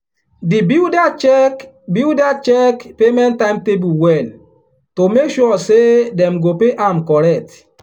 the builder check builder check payment timetable well to make sure say dem go pay am correct.